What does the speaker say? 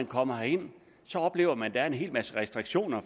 kommer herind oplever man at der er en hel masse restriktioner